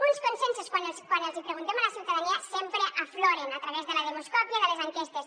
uns consensos que quan els hi preguntem a la ciutadania sempre afloren a través de la demoscòpia de les enquestes